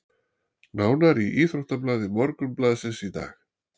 Nánar í íþróttablaði Morgunblaðsins í dag